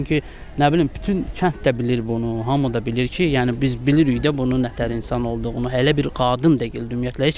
Çünki nə bilim, bütün kənd də bilir bunu, hamı da bilir ki, yəni biz bilirik də bunun nə təhər insan olduğunu, hələ bir qadın deyil ümumiyyətlə.